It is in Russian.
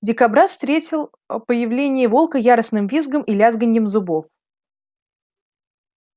дикобраз встретил появление волка яростным визгом и лязганьем зубов